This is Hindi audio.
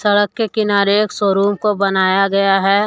सडक के किनारे एक शोरूम को बनाया गया है।